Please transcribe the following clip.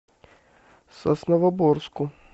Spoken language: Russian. сосновоборску